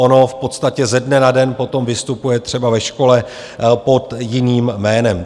Ono v podstatě ze dne na den potom vystupuje třeba ve škole pod jiným jménem.